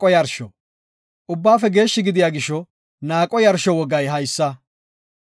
Ubbaafe geeshshi gidiya gisho naaqo yarsho wogay haysa;